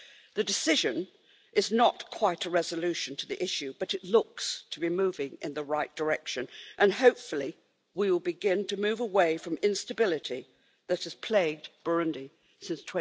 The decision is not quite a resolution to the issue, but it looks to be moving in the right direction and, hopefully, we will begin to move away from the instability that has plagued Burundi since